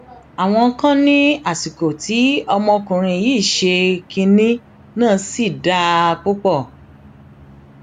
àwọn kan ní àsìkò tí ọmọkùnrin yìí ṣe kinní náà sì dáa púpọ